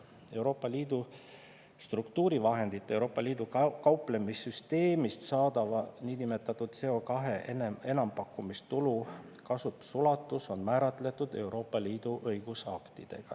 EL struktuurivahendite ja EL kauplemissüsteemist saadava nn CO2 enampakkumistulu kasutusulatus on määratletud EL õigusaktidega.